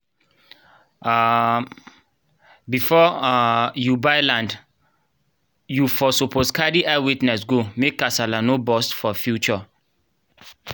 um before um u buy land u um suppos carry eye witness go make casala nor burst for future